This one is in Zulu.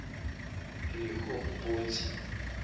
rehobhothi